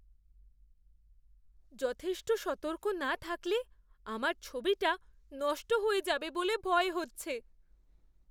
যথেষ্ট সতর্ক না থাকলে আমার ছবিটা নষ্ট হয়ে যাবে বলে ভয় হচ্ছে।